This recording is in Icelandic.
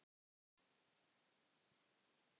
Ó, elsku afi.